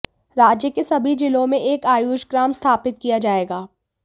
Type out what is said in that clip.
राज्य के सभी जिलों में एक आयुष ग्राम स्थापित किया जाएगा